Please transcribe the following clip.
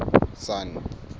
sun